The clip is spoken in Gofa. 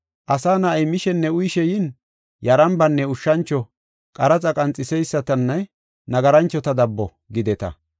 Asa Na7ay mishenne uyishe yin, ‘Yarambanne ushshancho, qaraxa qanxiseysatanne nagaranchota dabbo’ gideta.